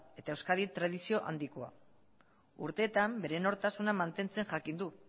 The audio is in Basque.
eta euskadin tradizio handikoa urteetan bere nortasuna mantentzen jakin du